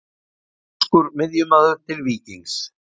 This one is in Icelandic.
Finnskur miðjumaður til Víkings